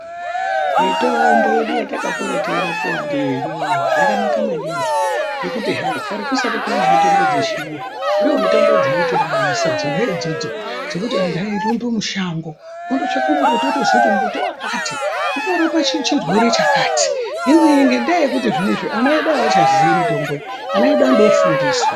Mitombo yedu yatakakura teirapiwa ndiyo iyoyo yakanaka maningi ngekuti hai kare kusati kwane mitombo dzechirungu ndomitombo dzaitiraramisa dzona idzodzo dzekuti antu airumba mushango totsvaka mbuti otoziya kuti mbuti wakati unorapa chirwere chakati.